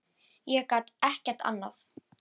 Ég get ekki annað.